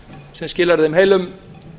sem skilar þeim heilum